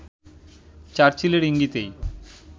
চার্চিলের ইঙ্গিতেই